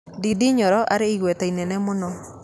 Ndĩndĩ Nyoro arĩ na igweta inene muno